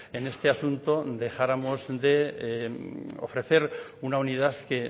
en este asunto dejáramos de ofrecer una unidad que